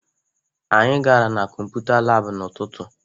Anyị gara na kọmputa laabụ n'ụtụtụ